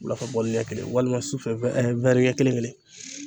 Wulafɛ ni ɲɛ kelen walima sufɛ ɲɛ kelen-kelen.